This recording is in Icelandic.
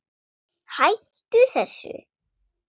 Hætta þessu!